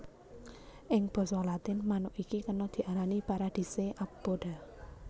Ing basa Latin manuk iki kena diarani paradisaea apoda